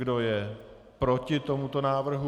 Kdo je proti tomuto návrhu?